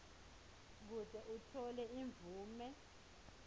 kute utfole imvume